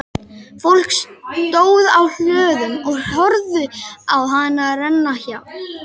Fólk stóð á hlöðum og horfði á hana renna hjá.